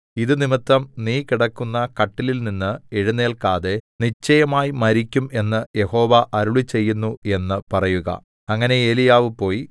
ഇതു നിമിത്തം നീ കിടക്കുന്ന കട്ടിലിൽനിന്ന് എഴുന്നേൽക്കാതെ നിശ്ചയമായി മരിക്കും എന്ന് യഹോവ അരുളിച്ചെയ്യുന്നു എന്ന് പറയുക അങ്ങനെ ഏലീയാവ് പോയി